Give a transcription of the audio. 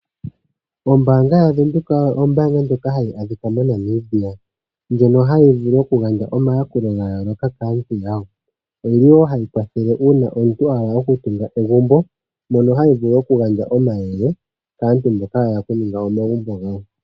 Ombaanga yaVenduka ombaanga ndjoka hayi adhika moNamibia, ndjono hayi vulu okugandja omayakulo gayooloka kaantu yawo. Oyili wo hayi kwathele uuna omuntu a hala okutunga egumbo, mono hayi vulu okugandja omayele kaantu mboka yahala okuninga omagumbo gawo.